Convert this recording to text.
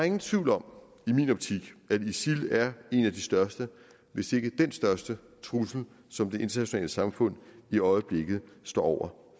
ingen tvivl om at isil er en af de største hvis ikke den største trussel som det internationale samfund i øjeblikket står over